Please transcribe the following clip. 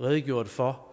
redegjort for